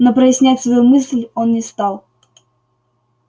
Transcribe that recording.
но прояснять свою мысль не стал